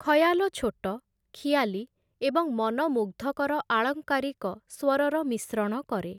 ଖୟାଲ ଛୋଟ, ଖିଆଲୀ ଏବଂ ମନମୁଗ୍ଧକର ଆଳଙ୍କାରିକ ସ୍ଵରର ମିଶ୍ରଣ କରେ ।